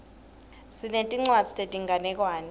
sinetincwadzi tetinganekwane